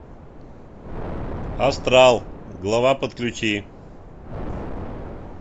астрал глава подключи